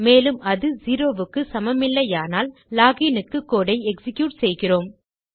மேலும் அது செரோ க்கு சமமில்லையானால் லோகின் க்கு கோடு ஐ எக்ஸிக்யூட் செய்கிறோம்